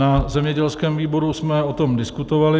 Na zemědělském výboru jsme o tom diskutovali.